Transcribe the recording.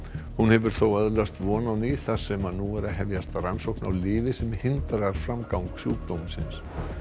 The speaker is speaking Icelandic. hún hefur þó öðlast von á ný þar sem nú er að hefjast rannsókn á lyfi sem hindrar framgang sjúkdómsins